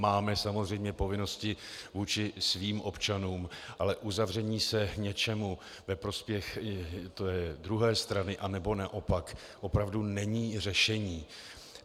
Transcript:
Máme samozřejmě povinnosti vůči svým občanům, ale uzavření se něčemu ve prospěch druhé strany anebo naopak opravdu není řešení.